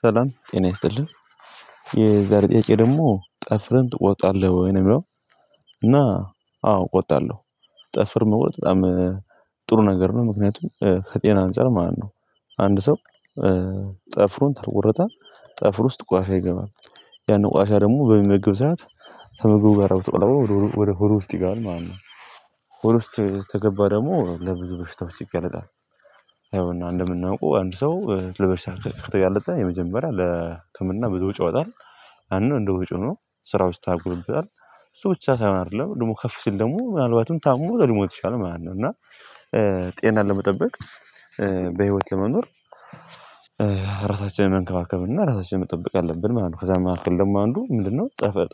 ሰላም ጤና ይስጥልኝ የዛሬ ጥያቄ ደግሞ ጥፍረን ትቆጣለህ ወይ ነው የሚለው? እና አዎ ቆጣለሁ። ጥፍር መቁረጥ በጣም ጥሩ ነገር ነው ምክንያቱም ከጤና አንፃር ማለት ነው። አንድ ሰው ጥፍሩን ካልቆረጠ ጠፍር ውስጥ ቋሻ ይገባል ያን ቆሻሻ ደግሞ በሚመገብ ሰዓት ከመግቡ ጋር አውጥቶ ወደ ሆድ ውስጥ ይገባል ማለት ነው። ሆድ ውስጥ ተገባ ደግሞ ለብዙ በሽታዎች ይገለጣል። ያው እና እንደምናውቀው አንድ ሰው ለበሽታ ከተጋለጠ የመጀመሪያ ለህክምና ብዙ ወጪ ወጣል። አንድ እንደወጪ ሆኖ ስራዎች ይታጉልበታል ሰዎች ሳይሆን አይደለም ደግሞ ከፍ ስል ደግሞ ምናልባትም ታሞ ደግሞ የተሻለ ማለት ነው እና። ጤና ለመጠበቅ በህይወት ለመኖር ራሳችንን መንከባከብ እና ራሳችንን መጠበቅ አለብን ማለት ነው። ከዛ የምናክል ደግሞ አንዱ ምንድነው?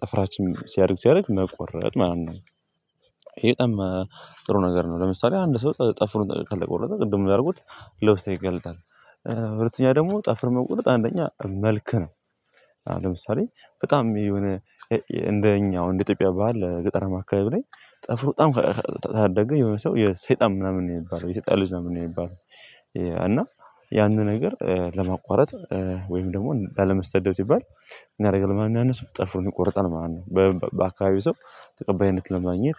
ጠፍራችን ሲያደርግ ሲያደርግ መቆረጥ ማለት ነው። ይሄ ጥሩ ነገር ነው ለምሳሌ አንድ ሰው ጠፍሩን ከለቆ ወረቀ ቅድሙን ያደርጉት ለውስጥ ይገልጣል። በሁለተኛ ደግሞ ጠፍር መቁረጥ አንደኛ መልክ ነው። ለምሳሌ በጣም የሆነ እንደኛው እንደ ኢትዮጵያ ባህል ገጠረ ማካቤት ላይ ጥፍሩ በጣም ታደገ የሆነ ሰው የሰይጣን ምናምን ነው የሚባለው የሰይጣን ልጅ ምናምን ነው የሚባለው። እና ያንን ነገር ለማቋረጥ ወይም ደግሞ አለመሰደድ ሲባል እናደርጋለን ማንኛውንስ ጥፍሩን ቆርጠን ማለት ነው። በአካባቢው ሰው ተቀባይነት ለማግኘት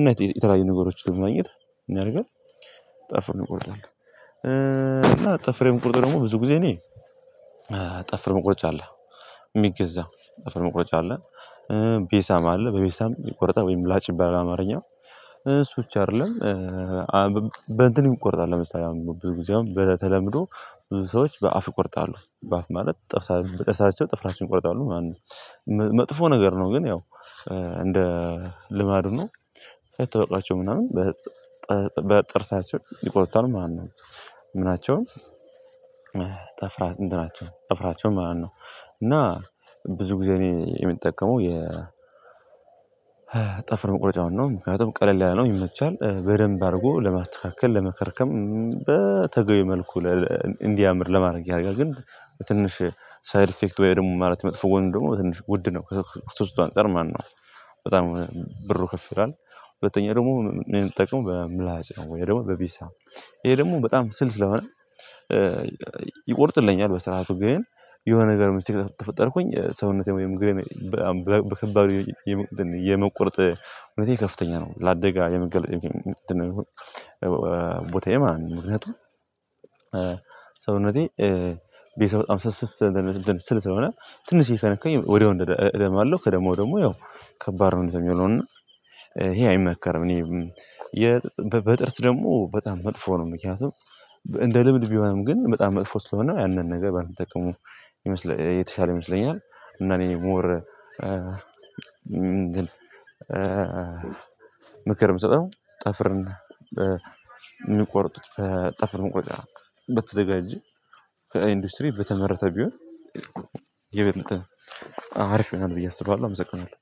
እና የተለያዩ ነገሮች ለማግኘት አድርገን ጠፍርን እቆርጣለሁ። እና ጠፍሬም ቁርጥ ደግሞ ብዙ ጊዜ እኔ መቁረጫ አለ። የሚገዛው ጠፍር መቁረጫ አለ ቤሳም አለ በቤሳም ይቆረጣል ወይም ምላጭ ይባላል አማርኛ እሱ ብቻ አይደለም። በእንትን ይቆርጣል ለምሳሌ አሁን ብዙ ጊዜ አሁን በተለምዶ ብዙ ሰዎች በአፍ ቁርጣለሁ በአፍ ማለት ጠርሳ በጠርሳቸው ጥፍራቸውን ይቆርጣሉ ማነው? መጥፎ ነገር ነው ግን ያው እንደ ልማዱ ነው ሳይታበቃቸው ምናምን ይቆርጣል ማለት ነው ምናቸውም ጠፍራ ምናቸውን ጠፍራቸው ማለት ነው። እና ብዙ ጊዜ እኔ የምጠቀመው የ ጠፍር መቁረጫውን ነው። ምክንያቱም ቀለል ያለነው ይመቻል በደንብ አድርጎ ለማስተካከል ለመከርከም በተገይ መልኩ እንዲያምር ለማድረግ ያደርጋል። ግን ትንሽ ሳይድ ኢፌክት ወይ ደግሞ ማለት መጥፎ ወንድ ደግሞ ትንሽ ውድ ነው ሶስቱ አንፃር ማነው በጣም ብር ከፍ ይላል። ሁለተኛ ደግሞ እንጠቀም በምላጭ ነው ወይ ደግሞ በቢሳ ይሄ ደግሞ በጣም ስል ስለሆነ። ይቆርጥልኛል በስርዓቱ ግን የሆነ ነገር ሚስጥር ተፈጠርኩኝ ሰውነቴ ወይም እግሬ በከባድ የመቆርጥ እውነቴ ከፍተኛ ነው ላደጋ የመገለጥ እንትን ነው የሚሆን ቦታዬ ማንነቱን ሰውነቴ ቤተሰብ በጣም ስልስ ስል ስለሆነ ትንሽዬ ከነካኝ ወዲያው እደማለሁ ከደማው ደግሞ ያው ከባድ ነው የሚሆነው። ይሄ አይመከርም እኔ በጥርስ ደግሞ በጣም መጥፎ ነው ምክንያቱም እንደ ልብል ቢሆንም ግን በጣም መጥፎ ስለሆነ ያንን ነገር ባይጠቀሙ የተሻለ ይመስለኛል። እና እኔ ሞር ምክር የምሰጠው ጠፍርና የምንቆርጡት ጠፍር መቁረጫ በተዘጋጀ ከኢንዱስትሪ በተመረተ ቢሆን የበለጠ አሪፍ ምናምን ብዬ አስባለሁ። አመሰግናለሁ